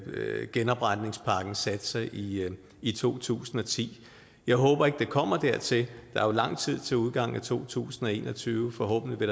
genopretningspakkens satser i i to tusind og ti jeg håber ikke det kommer dertil der er jo lang tid til udgangen af to tusind og en og tyve og forhåbentlig vil